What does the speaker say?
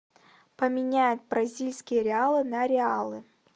поменять бразильские реалы на реалы